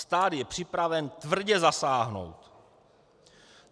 Stát je připraven tvrdě zasáhnout."